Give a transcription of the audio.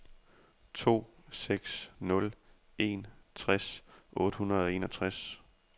to seks nul en tres otte hundrede og enogtres